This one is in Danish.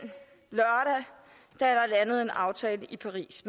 der blev landet en aftale i paris